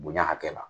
Bonya hakɛ la